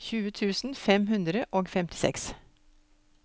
tjue tusen fem hundre og femtiseks